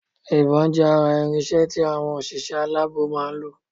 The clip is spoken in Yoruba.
Ìbón jé ara irinsé tí àwọn òṣìṣẹ́ aláàbò máa nlò